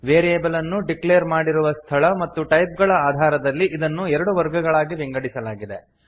variable ಅನ್ನು declare ಮಾಡಿರುವ ಸ್ಥಳ ಮತ್ತು ಟೈಪ್ ಗಳ ಆಧಾರದಲ್ಲಿ ಇದನ್ನು ಎರಡು ವರ್ಗಗಳಾಗಿ ವಿಂಗಡಿಸಲಾಗಿದೆ